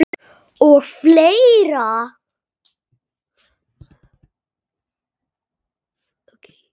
Og fleira.